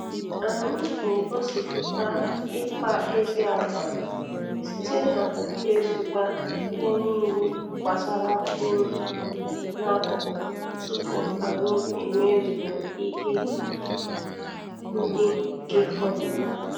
Anyị na-egosịpụta ịkpa ezi agwa, site n'iwezụga ihe n'ile gbasara uru n'akụkụ tupu anyị emezue ihe ndị nke fọdụrụ.